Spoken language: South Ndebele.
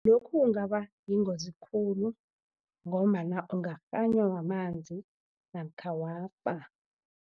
Lokhu kungabayingozi khulu ngombana ungakghanywa mamanzi namkha wafa.